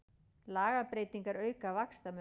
Lagabreytingar auka vaxtamun